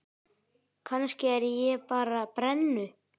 Kannski er ég bara brennu